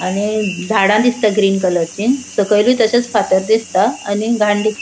आणि झाडा दिसता ग्रीन कलरची सकैलू तशेच फातर दिसता आणि घाण दिस --